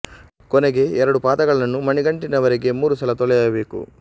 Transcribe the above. ಕೊನೆಗೆ ಎರಡು ಪಾದಗಳನ್ನು ಮಣಿಗಂಟಿನ ವರೆಗೆ ಮೂರು ಸಲ ತೊಳೆಯಬೇಕು